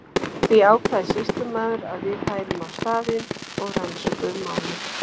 Því ákvað sýslumaður að við færum á staðinn og rannsökuðum málið.